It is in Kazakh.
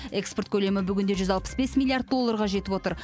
экспорт көлемі бүгінде жүз алпыс бес миллиард долларға жетіп отыр